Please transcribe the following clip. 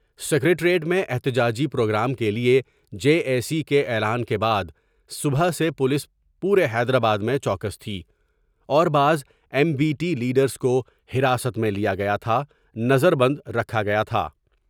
Secretariat میں احتجاجی programme کے لئے جیک کے اعلان کے بعد صبح سے پولیس پورے حیدرآباد میں چوکس تھی اور بعض ایم بی ٹی لیڈرس کو حراست میں لیا گیا تھا نظر بند رکھا گیا تھا ۔